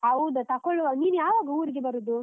ಹೌದಾ? ತಕೊಳ್ಳುವ. ನೀನ್ ಯಾವಾಗ ಊರಿಗೆ ಬರುದು?